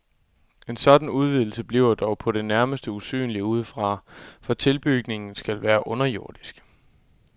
En sådan udvidelse bliver dog på det nærmeste usynlig udefra, for tilbygningen skal være underjordisk.